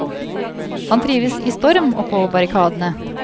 Han trives i storm og på barrikadene.